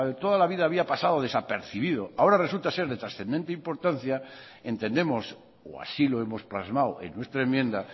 toda la vida había pasado desapercibido ahora resulta ser de trascendente importancia entendemos o así lo hemos plasmado en nuestra enmienda